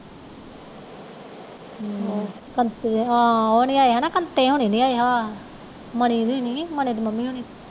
ਹਮਮ ਕੰਪੇ ਹੁਣੇ ਨਹੀਂ ਆਏ ਮਨੀ ਵੀ ਨੀ ਮਨੀ ਦੀ ਮੰਮੀ ਹੋਣੀ